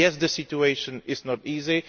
Yes, the situation is not easy